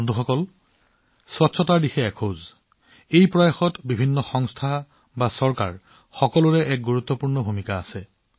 বন্ধুসকল পৰিষ্কাৰ পৰিচ্ছন্নতাৰ দিশত এক পদক্ষেপ হৈছে এই প্ৰচেষ্টাত প্ৰতিষ্ঠান হওক বা চৰকাৰেই হওক সকলোৰে এক গুৰুত্বপূৰ্ণ ভূমিকা আছে